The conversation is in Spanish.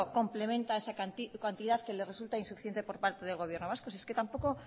complementa esa cantidad que le resulta insuficiente por parte del gobierno vasco es que tampoco